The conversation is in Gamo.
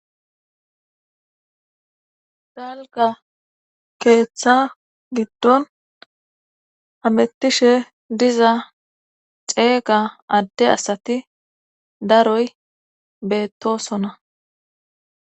dalga keeththa giddon hamettishe diza ceeqa adde asati daroy beettosona